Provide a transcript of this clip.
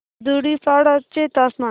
धुडीपाडा चे तापमान